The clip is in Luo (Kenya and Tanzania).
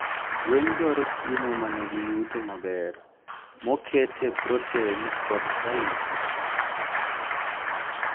gwen dwaro chiemo manigi yuto maber, mokete proten kod kalisi